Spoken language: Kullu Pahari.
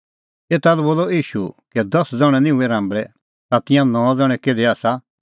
एता लै बोलअ ईशू कै दस ज़ण्हैं निं हुऐ राम्बल़ै तै तिंयां नौ ज़ण्हैं किधी आसा